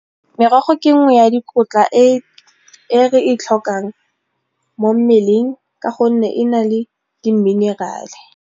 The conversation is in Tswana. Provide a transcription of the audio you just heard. Merogo ke nngwe ya dikotla e re e tlhokang mo mmeleng ka gonne e na le di-mineral-e.